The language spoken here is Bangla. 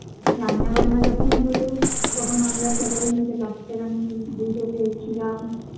রান্না বান্না যখন হলো তখন আমরা সবাই মিলে বাচ্চারা মিলে লুডো খেলছিলাম